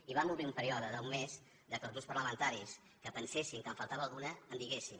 i vam obrir un període d’un mes perquè els grups parlamentaris que pensessin que en faltava alguna la diguessin